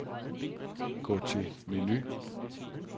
Gå til menu.